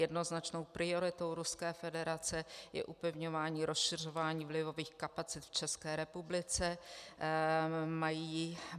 Jednoznačnou prioritou Ruské federace je upevňování, rozšiřování vlivových kapacit v České republice.